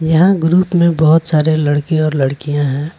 यहां ग्रुप में बहोत सारे लड़के और लड़कियां हैं।